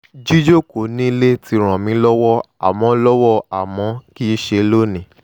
jíjókòó nílẹ̀ ti ràn mí lọ́wọ́ àmọ́ lọ́wọ́ àmọ́ kìí ṣe lónìí